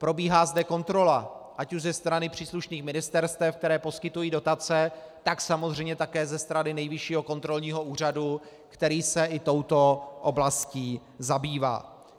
Probíhá zde kontrola ať už ze strany příslušných ministerstev, která poskytují dotace, tak samozřejmě také ze strany Nejvyššího kontrolního úřadu, který se i touto oblastí zabývá.